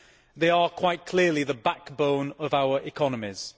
They are quite clearly the backbone of our economies.